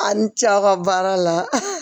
A ni ce aw ka baara la